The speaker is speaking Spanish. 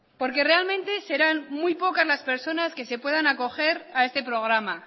porque realmente serán muy pocas las personas que se puedan acoger a este programa